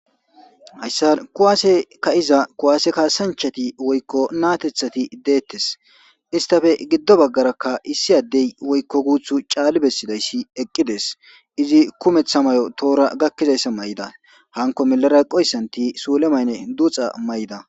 Hayssan kuwasse ka'za kuwasse kassanchati woyikko nattethati dettes isstappe giddo bagaraka issi addeyi woyikko guthu caalli besizayisi eqqides izi kummeththa Mayo woyikko tohora gakkizaysa mayidda hankko millera eqqidayisati sulle mayinne duxxa mayidda.